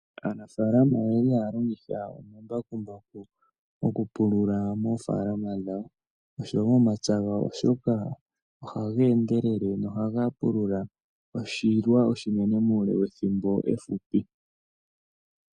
Aanafaalama oye li haa longitha omambakumbaku oku pulula moofaalama dhawo, osho wo momapya gawo oshoka oha ga endelele, noha ga pulula oshilwa oshinene muule wethimbo efupi.